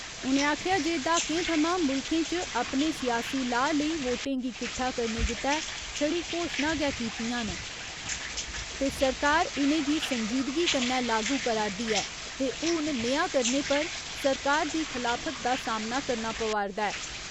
उ'नें आखेआ जे दहाकें थमां मुल्खें च अपने सियासी लाऽ लेई वोटें गी किट्ठा करने गितै छड़ी घोशना गै कितियां न ते सरकार इनेंगी संजीदगी कन्नै लागू करा रदी ऐ ते हून नेहा करने पर सरकार दी खलाफत दा सामना करना पवा रदा ऐ।